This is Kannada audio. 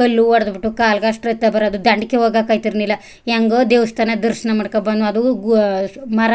ಕಲ್ಲ್ ಹೊಡ್ಬಿಟ್ಟು ಕಾಲ್ಗ ಅಷ್ಟು ರಕ್ತ ಬರೋದೋ ದಂಡಕೇ ಹೋಗಕ್ಕೆ ಅಯ್ತಿರ್ಲಿಲ್ಲ ಹೆಂಗೋ ದೇವಸ್ಥಾನ ದರ್ಶನ ಮಾಡ್ಕೊ ಬಂದ್ಮೋ ಅದುಮರ